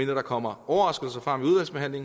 der kommer overraskelser frem